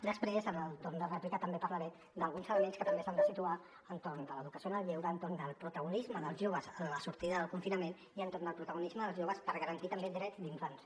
després en el torn de rèplica també parlaré d’alguns elements que també s’han de situar entorn de l’educació en el lleure entorn el protagonisme dels joves a la sortida del confinament i entorn al protagonisme dels joves per garantir també drets d’infants